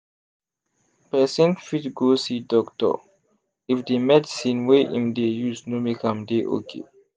person fit go see doctor if the medicine wey im dey use no make am dey okay